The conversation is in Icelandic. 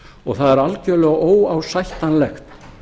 og það er algjörlega óásættanlegt